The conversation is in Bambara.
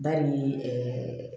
Ba ni ɛɛ